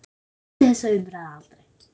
Ég skildi þessa umræðu aldrei.